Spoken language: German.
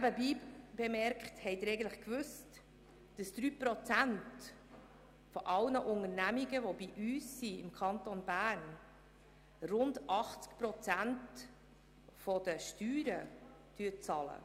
Nebenbei bemerkt, wussten Sie eigentlich, dass 3 Prozent aller Unternehmungen, die bei uns im Kanton Bern sind, rund 80 Prozent der Steuern bezahlen?